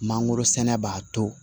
Mangoro sɛnɛ b'a to